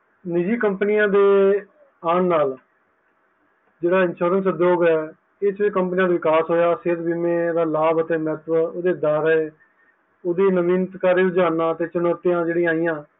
ਨਿਜੀ companies ਦੇ ਆਨ ਨਾਲ ਜੇਹੜਾ insurance ਉਧਯੋਗ ਹੈ ਇਸ companies ਵਿਕਾਸ ਹੋਆ, ਸੇਹਤ ਬੀਮਾ ਦੇ ਲਾਭ ਅਤੇ ਓਹਦੇ ਨਾਵਿਤਕਾਰੀ ਰੁਜਾਣਾ ਅਤੇ ਚਣੋਤੀ ਜਿਹੜੀ ਆਇਆਂ ਹੈ